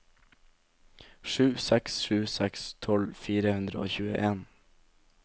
sju seks sju seks tolv fire hundre og tjueen